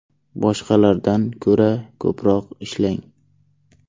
Boshqalardan ko‘ra ko‘proq ishlang.